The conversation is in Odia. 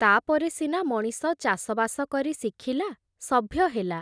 ତା’ପରେ ସିନା ମଣିଷ ଚାଷବାସ କରି ଶିଖିଲା, ସଭ୍ୟ ହେଲା ।